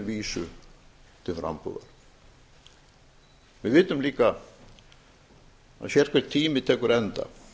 vísu til frambúðar við vitum líka að sérhver tími tekur enda